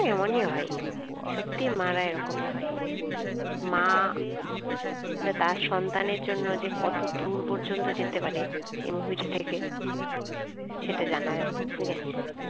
এমন ই হয়, সত্যি মারা এরকমই হয়. মা তার সন্তানের জন্য কত দূর পর্যন্ত যেতে পারে এই movie টা দেখে সেটা জানা যায় ঠিকাছে.